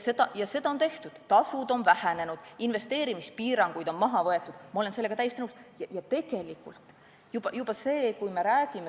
Seda on ka tehtud, tasud on vähenenud, investeerimispiiranguid on maha võetud – ma olen sellega täiesti nõus.